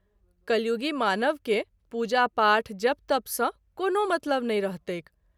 कलियुगी मानव के पूजा- पाठ , जप- तप सँ कोनो मतलब नहिं रहतैक।